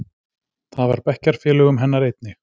Það var bekkjarfélögum hennar einnig.